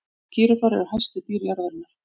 gíraffar eru hæstu dýr jarðarinnar